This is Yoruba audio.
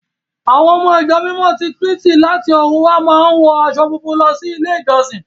À́wọn ọmọ Ìjọ Mímọ́ ti Kírísítì láti ọ̀run wá máa ń wọ aṣọ funfun lọ sí ilé-ìjọsìn.